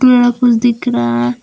यहां कुछ दिख रहा है।